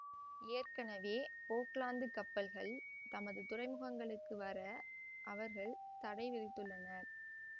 ஏற்கனவே போக்லாந்து கப்பல்கள் தமது துறைமுகங்களுக்கு வர அவர்கள் தடை விதித்துள்ளனர்